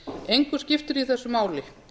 engu skiptir í þessu máli